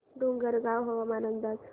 डोंगरगाव हवामान अंदाज